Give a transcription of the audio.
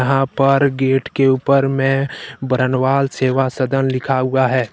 यहां पर गेट के ऊपर में बरनवाल सेवा सदन लिखा हुआ है।